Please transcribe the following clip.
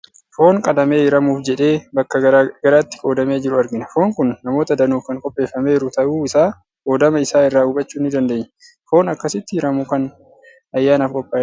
Foon qalamee hiramuuf jedhee bakka gara garaatti qoodamee jiru argina. Foon kun namoota danuuf kan qopheeffameeru ta'uu isaa qoodama isaa irraa hubachuu ni dandeenya. Foon akkasitti hiramu kan ayyaanaaf qophaa'edha.